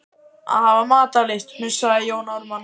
Að hafa matarlyst, hnussaði Jón Ármann.